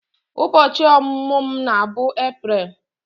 Ubochi omumu m na-bụ April